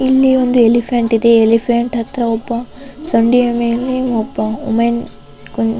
ಇಲ್ಲಿ ಒಂದು ಎಲಿಫೆಂಟ್ ಇದೆ ಎಲಿಫೆಂಟ್ ಹತ್ರ ಒಬ್ಬ ಸೊಂಡಿಲ ಮೇಲೆ ಒಬ್ಬ ವಿಮೆನ್ --